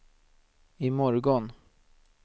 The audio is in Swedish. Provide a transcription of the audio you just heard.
imorgon